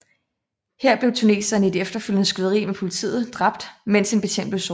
Her blev tuneseren i et efterfølgende skyderi med politiet dræbt mens en betjent blev såret